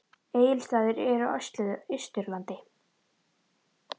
Egilsstaðir eru á Austurlandi.